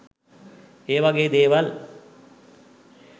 ඒ වගේ දේවල්